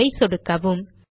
save ஐ சொடுக்கவும்